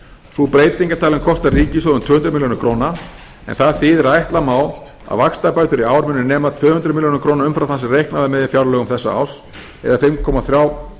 sú breyting er talin kosta ríkissjóð um en það þýðir að ætla má að vaxtabætur í ár muni nema tvö hundruð milljóna króna umfram það sem reiknað var með í fjárlögum þessa árs eða